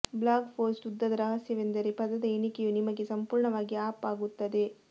blog post ಉದ್ದದ ರಹಸ್ಯವೆಂದರೆ ಪದದ ಎಣಿಕೆಯು ನಿಮಗೆ ಸಂಪೂರ್ಣವಾಗಿ ಅಪ್ ಆಗುತ್ತದೆ